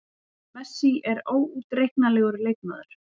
Messi er óútreiknanlegur leikmaður.